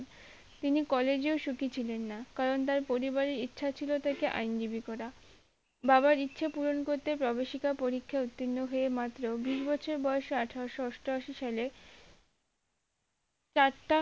তিনি কলেজেও সুখি ছিলেন না কারন তার পরিবারের ইচ্ছে ছিল তাকে আইন জিবি করা বাবার ইচ্ছা পুরন করতে গবেষিকা পরীক্ষায় উত্তীর্ণ হয়ে মাত্র বিশ বছর বয়সে আঠারোশো অষ্টআশি সালে চারটা